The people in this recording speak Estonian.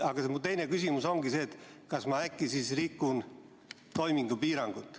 Aga mu teine küsimus ongi see, kas ma siis rikun äkki toimingupiirangut.